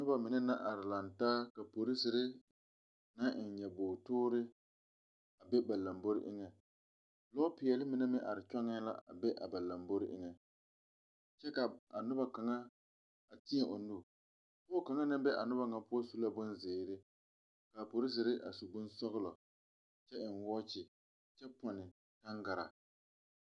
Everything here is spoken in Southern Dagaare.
Noba mine naŋ are laŋɛ taa ka polsiri naŋ eŋ nyobor toori a be ba lambori eŋɛ, lɔɔ peɛle mine meŋ are kyɔŋɛ la be ba lambori eŋ, kyɛ ka a noba kaŋa a teɛ o nu pɔge kaŋa naŋ be a noba ŋa poɔ su la bon zɛre ka polsiri a su bon sɔglɔ kyɛ eŋ wɔkyi kyɛ ponne tangaraa.